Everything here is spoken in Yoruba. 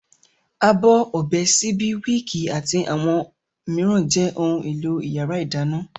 Abọ́, ọ̀bẹ, síbí, wííkì àti àwọn mìíràn jẹ́ ohun-èlò ìyàrá-ìdáná.